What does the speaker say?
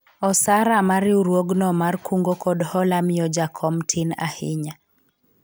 osara ma riwruogno mar kungo kod hola miyo jakom tin ahinya